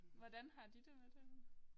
Hvordan har de det med det?